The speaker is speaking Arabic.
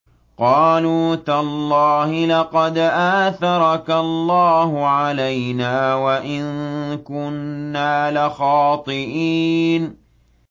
قَالُوا تَاللَّهِ لَقَدْ آثَرَكَ اللَّهُ عَلَيْنَا وَإِن كُنَّا لَخَاطِئِينَ